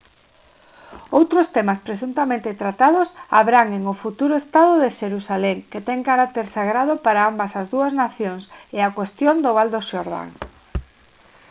outros temas presuntamente tratados abranguen o futuro estado de xerusalén que ten carácter sagrado para ambas as dúas nacións e a cuestión do val do xordán